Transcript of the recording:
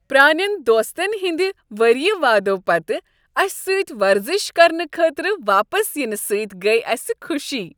پرٲنین دوستن ہند ؤری وادو پتہٕ اسہ سۭتۍ ورزش کرنہٕ خٲطرٕ واپس ینہٕ سۭتۍ گٔیہ اسہ خوشی۔